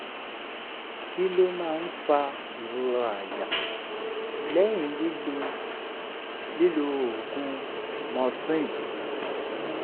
kí ló máa ń fa ìrora àyà lẹ́yìn lílo lílo oògùn morphine?